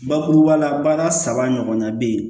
Bakuruba la baara saba ɲɔgɔnna bɛ yen